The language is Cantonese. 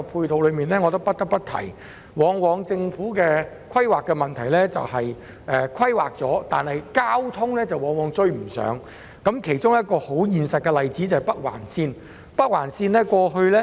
但是，我不得不提，政府的規劃問題往往在於交通配套追不上，其中一個實際例子是北環綫。